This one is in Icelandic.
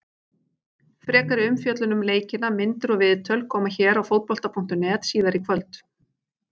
Frekari umfjöllun um leikina, myndir og viðtöl, koma hér á Fótbolta.net síðar í kvöld.